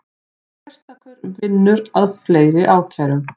Sérstakur vinnur að fleiri ákærum